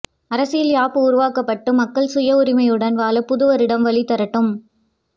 அரசியல் யாப்பு உருவாக்கப்பட்டு மக்கள் சுய உரிமையுடன் வாழ புதுவருடம் வழி தரட்டும்